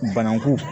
Bananku